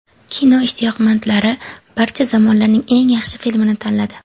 Kino ishtiyoqmandlari barcha zamonlarning eng yaxshi filmini tanladi.